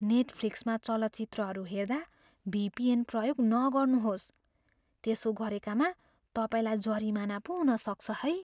नेटफ्लिक्समा चलचित्रहरू हेर्दा भिपिएन प्रयोग नगर्नुहोस्। त्यसो गरेकामा तपाईँलाई जरिमाना पो हुन सक्छ है।